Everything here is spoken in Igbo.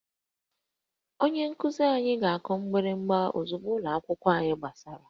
Onye nkuzi anyị ga-akụ mgbịrịgba ozugbo ụlọ akwụkwọ gbachara